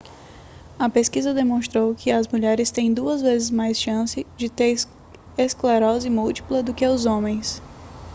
a pesquisa demonstrou que as mulheres têm duas vezes mais chances de ter esclerose múltipla do que os homens